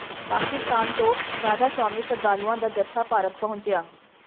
ਪਾਕਿਸਤਾਨ ਤੋਂ ਰਾਧਾ ਸੁਆਮੀ ਸ਼ਰਧਾਲੂਆਂ ਦਾ ਜਥਾ ਭਾਰਤ ਪਹੰੁਚਿਆ